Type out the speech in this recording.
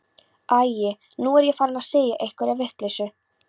Æi, nú er ég farin að segja einhverja vitleysu.